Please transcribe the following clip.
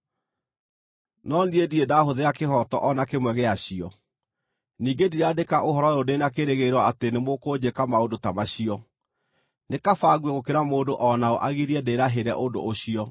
No niĩ ndirĩ ndaahũthĩra kĩhooto o na kĩmwe gĩa cio. Ningĩ ndiraandĩka ũhoro ũyũ ndĩ na kĩĩrĩgĩrĩro atĩ nĩmũkũnjĩka maũndũ ta macio. Nĩ kaba ngue gũkĩra mũndũ o naũ agirie ndĩĩrahĩre ũndũ ũcio.